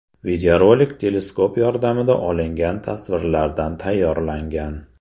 Videorolik teleskop yordamida olingan tasvirlardan tayyorlangan.